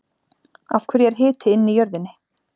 Af hverju er hiti inn í jörðinni?